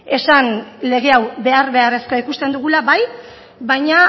esan lege hau behar beharrezkoa ikusten dugula bai baina